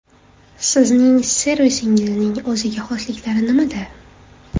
Sizning servisingizning o‘ziga xosliklari nimada?